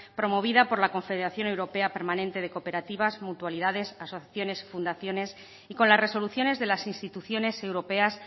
promovida por la confederación europea permanente de cooperativas mutualidades asociaciones y fundaciones y con las resoluciones de las instituciones europeas